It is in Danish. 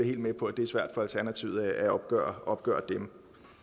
helt med på at det er svært for alternativet at opgøre opgøre dem